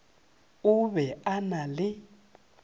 o be a na le